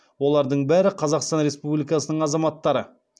олардың бәрі қазақстан республикасының азаматтары